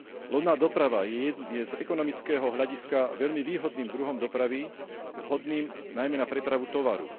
Lodná doprava je z ekonomického hľadiska veľmi výhodným druhom dopravy vhodným najmä na prepravu tovaru.